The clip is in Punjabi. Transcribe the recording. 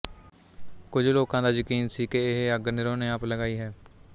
ਕੁਝ ਲੋਕਾਂ ਦਾ ਯਕੀਨ ਸੀ ਕਿ ਇਹ ਅੱਗ ਨੀਰੋ ਨੇ ਆਪ ਲਗਾਈ ਹੈ